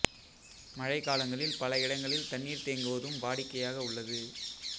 மழை காலங்களில் பல இடங்களில் தண்ணீர் தேங்குவதும் வாடிக்கையாக உள்ளது